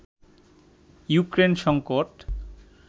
Ukraine সংকট